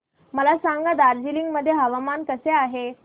मला सांगा दार्जिलिंग मध्ये हवामान कसे आहे